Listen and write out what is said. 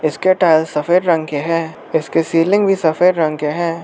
इसके टाइल्स सफेद रंग के हैं इसके सीलिंग भी सफेद रंग के हैं।